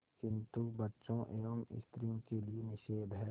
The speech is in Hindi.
किंतु बच्चों एवं स्त्रियों के लिए निषेध है